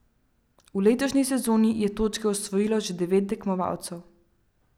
V letošnji sezoni je točke osvojilo že devet tekmovalcev.